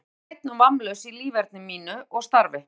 Ég vil vera hreinn og vammlaus í líferni mínu og starfi.